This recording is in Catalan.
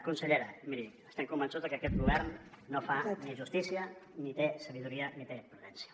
consellera miri estem convençuts de que aquest govern no fa ni justícia ni té saviesa ni té prudència